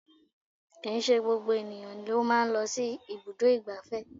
Kìí ṣe gbogbo ènìyàn ló máa ń lọ sí ibùdó ìgbáfẹ́